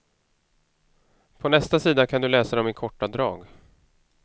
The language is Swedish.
På nästa sida kan du läsa dem i korta drag.